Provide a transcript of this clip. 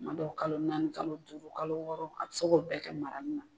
Kuma dɔw kalo naani kalo duuru kalo wɔɔrɔ a bi se k'o bɛɛ kɛ marani na